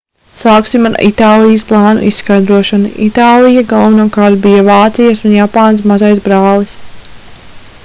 sāksim ar itālijas plānu izskaidrošanu itālija galvenokārt bija vācijas un japānas mazais brālis